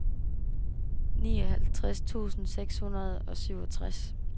nioghalvtreds tusind seks hundrede og syvogtres